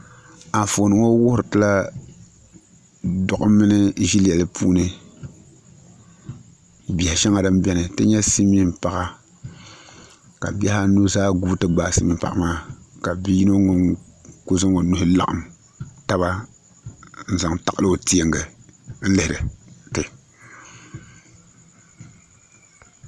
Anfooni ŋɔ wuhuritila doɣam mini ʒɛlɛli puuni biɛha shɛŋa din biɛni ti nyɛ silmiin paɣa kq bihi anu zaa guui ti gbaai silmiin paɣa maa ka bia yino ŋun ku zaŋ o nuhi laɣam taba n zaŋ taɣali o teengi n lihiri ti